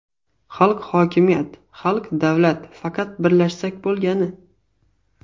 Xalq hokimiyat, xalq davlat, faqat birlashsak bo‘lgani.